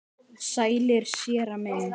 Sælir, séra minn.